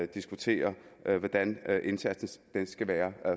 diskutere hvordan indsatsen skal være